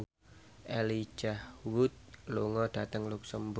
Elijah Wood lunga dhateng luxemburg